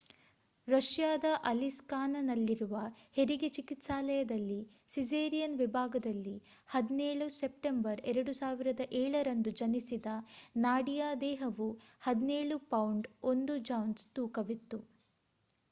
ರಷ್ಯಾದ ಅಲಿಸ್ಕ್‌ನಲ್ಲಿರುವ ಹೆರಿಗೆ ಚಿಕಿತ್ಸಾಲಯದಲ್ಲಿ ಸಿಸೇರಿಯನ್ ವಿಭಾಗದಲ್ಲಿ 17 ಸೆಪ್ಟೆಂಬರ್ 2007 ರಂದು ಜನಿಸಿದ ನಾಡಿಯಾ ದೇಹವು 17 ಪೌಂಡ್ 1 ಔನ್ಸ್ ತೂಕವಿತ್ತು